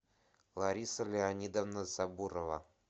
лариса леонидовна сабурова